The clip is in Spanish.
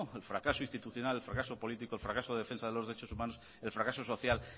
el fracaso institucional el fracaso político el fracaso de defensa de los derechos humanos el fracaso social